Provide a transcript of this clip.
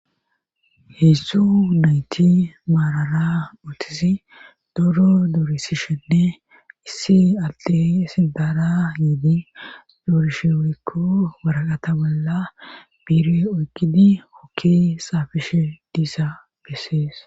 hezdzdu nayti maarara otisi doro doorisishenne issi alte sidara yiidi doorishe wurikko baraqata bolla biire oykidi hokki saafishe diisa bessees